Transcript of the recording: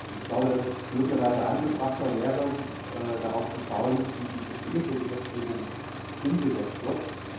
Ich glaube, dass es möglicherweise angebrachter wäre, darauf zu schauen, wie die bestehende Gesetzgebung umgesetzt wird.